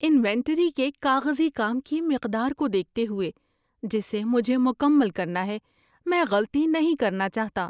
Inventory کے کاغذی کام کی مقدار کو دیکھتے ہوئے جسے مجھے مکمل کرنا ہے، میں غلطی نہیں کرنا چاہتا۔